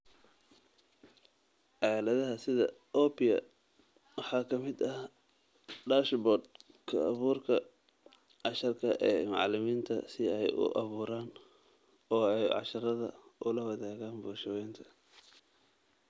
Aaladaha sida Oppia waxaa ka mid ah dashboard-ka abuurka casharka ee macallimiinta si ay u abuuraan oo ay casharrada ula wadaagaan bulsho weynta.